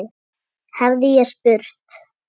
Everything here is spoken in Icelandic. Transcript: hefði ég spurt.